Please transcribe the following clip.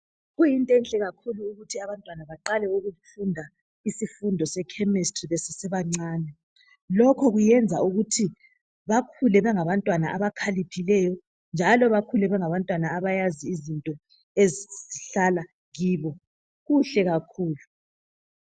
Kuyintwenhle kakhulu ukuthi abantwana baqale ukufunda isifundo sechemistry besesebancane .Lokhu kuyenza ukuthi bakhule bengabantwana abakhaliphileyo njalo bakhule bengabantwana abayazi izinto ezihlala kibo .Kuhle kakhulu.